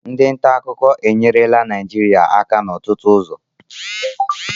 Ndị nta akụkọ enyerela Naịjirịa aka n'ọtụtụ ụzọ